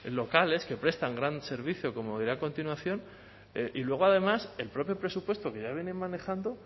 locales que prestan gran servicio como diré a continuación y luego además el propio presupuesto que ya vienen manejando